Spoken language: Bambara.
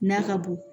N'a ka bon